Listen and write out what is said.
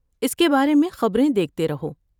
اس کے بارے میں خبریں دیکھتے رہو۔